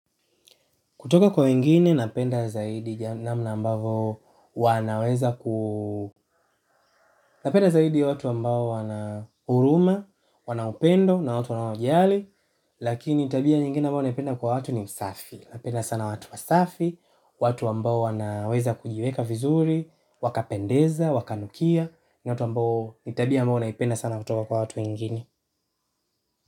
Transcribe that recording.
Kutoka kwa wengine napenda zaidi namna ambavyo wanaweza ku, napenda zaidi watu ambao wana huruma, wana upendo ni watu wanaojali. Lakini tabia nyingine ambayo napenda kwa watu ni usafi. Napenda sana watu wasafi, watu ambao wanaweza kujiweka vizuri, wakapendeza, wakanukia ni watu ambao, ni tabia ambayo naipenda kutoka kwa watu wengine.